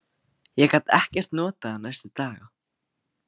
Ég gat ekkert notað hann næstu daga.